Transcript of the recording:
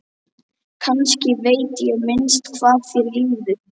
Kannski veit ég minnst hvað þér líður.